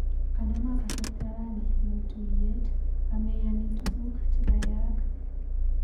Kanama kasarta rani eng tuiyet ameyani tukuk chekayaak.